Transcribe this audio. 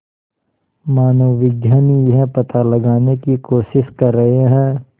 मानवविज्ञानी यह पता लगाने की कोशिश कर रहे हैं